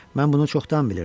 Mən bunu çoxdan bilirdim.